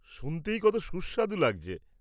শুনতেই কত সুস্বাদু লাগছে।